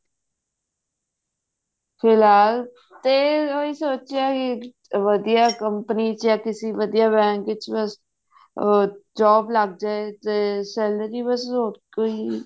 ਫਿਲਹਾਲ ਤੇ ਇਹੀ ਸੋਚਿਆ ਵੀ ਕਿਸੇ ਵਧੀਆ company ਜਾਂ ਕਿਸੇ ਵਧੀਆ bank ਚ ਉਹ job ਲੱਗ ਜੇ ਤੇ salary ਬਸ ਹੋਰ ਕੋਈ